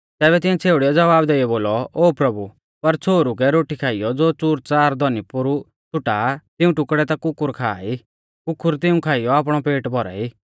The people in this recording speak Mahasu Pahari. तैबै तिऐं छ़ेउड़ीऐ ज़वाब देइयौ बोलौ ओ प्रभु पर छ़ोहरु कै रोटी खाइयौ ज़ो च़ूरच़ार धौनी पोरु छ़ुटा आ तिऊं टुकड़ै ता कुकुर खा ई कुकुर तिऊं खाइयौ आपणौ पेट भौराई